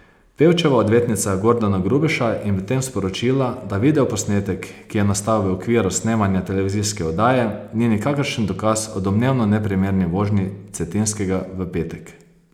Pevčeva odvetnica Gordana Grubeša je medtem sporočila, da videoposnetek, ki je nastal v okviru snemanja televizijske oddaje, ni nikakršen dokaz o domnevno neprimerni vožnji Cetinskega v petek.